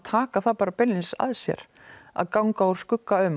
taka það beinlínis að sér að ganga úr skugga um